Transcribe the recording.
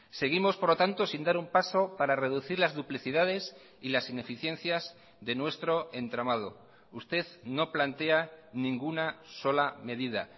seguimos por lo tanto sin dar un paso para reducir las duplicidades y las ineficiencias de nuestro entramado usted no plantea ninguna sola medida